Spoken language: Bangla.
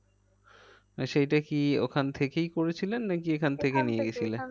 মানে সেইটা কি ওইখান থেকেই করেছিলেন নাকি এখান থেকে